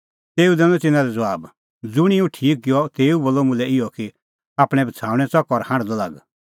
तेऊ दैनअ तिन्नां लै ज़बाब ज़ुंणी हुंह ठीक किअ तेऊ बोलअ मुल्है इहअ कि आपणैं बछ़ाऊणैं च़क और हांढदअ लाग